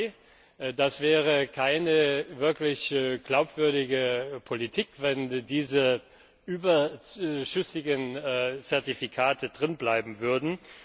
2. Das wäre keine wirklich glaubwürdige Politik, wenn diese überschüssigen Zertifikate drinbleiben würden.